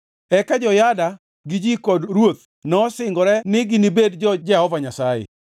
Eka Jehoyada gi ji kod ruoth nosingore ni ginibed jo-Jehova Nyasaye.